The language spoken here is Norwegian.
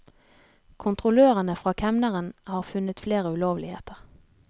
Kontrollørene fra kemneren har funnet flere ulovligheter.